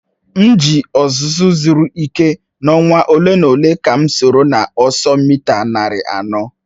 M ji ọzụzụ siri ike n'ọnwa ole na ole ka m soro n'ọsọ mita narị anọ.